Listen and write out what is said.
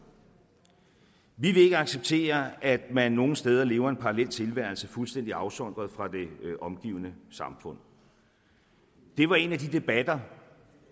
vi vil ikke acceptere at man nogle steder lever en paralleltilværelse fuldstændig afsondret fra det omgivende samfund det var en af de debatter